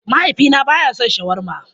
Mahaifina ba ya son shawarma